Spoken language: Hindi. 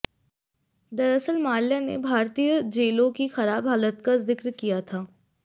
दरअसल माल्या ने भारतीयों जेलों की खराब हालात का जिक्र किया था